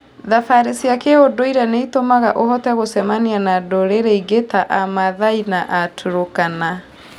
Thabarĩ cia kĩũndũire nĩ itũmaga ũhote gũcemania na ndũrĩrĩ ingĩ ta Amaathai na Aturkana.